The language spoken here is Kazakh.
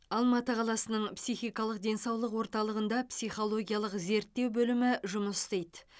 алматы қаласының психикалық денсаулық орталығында психологиялық зерттеу бөлімі жұмыс істейді